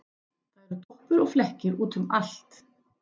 Það eru doppur og flekkir út um allt.